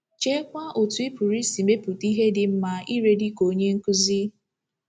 Cheekwa otú ị pụrụ isi mepụta ihe dị mma irè dị ka onye nkuzi!